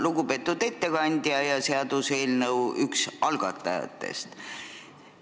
Lugupeetud ettekandja ja seaduseelnõu üks algatajatest!